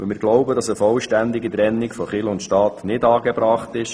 Wir glauben, dass eine vollständige Trennung von Kirche und Staat nicht angebracht ist.